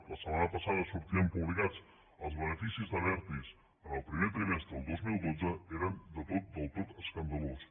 la setmana passada sortien publicats els beneficis d’abertis en el primer trimestre del dos mil dotze i eren del tot escandalosos